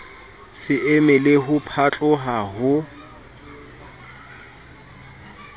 se emele ho phatloha ho